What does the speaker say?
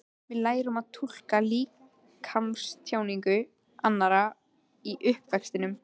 Við lærum að túlka líkamstjáningu annarra í uppvextinum.